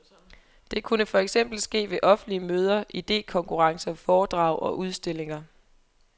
Det kunne for eksempel ske ved offentlige møder, idekonkurrencer, foredrag og udstillinger.